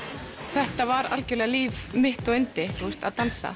þetta var algjörlega líf mitt og yndi að dansa